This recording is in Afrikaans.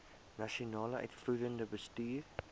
nasionale uitvoerende bestuur